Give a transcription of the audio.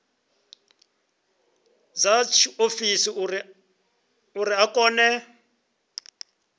dza tshiofisi uri a kone